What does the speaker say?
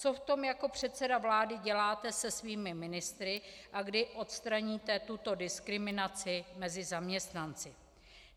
Co v tom jako předseda vlády děláte se svými ministry a kdy odstraníte tuto diskriminaci mezi zaměstnanci?